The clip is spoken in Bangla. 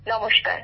নমস্কার